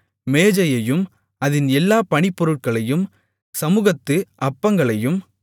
மேஜையையும் அதின் எல்லாப் பணிப்பொருட்களையும் சமுகத்து அப்பங்களையும்